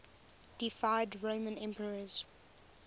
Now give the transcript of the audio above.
deified roman emperors